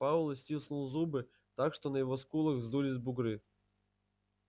пауэлл стиснул зубы так что на его скулах вздулись бугры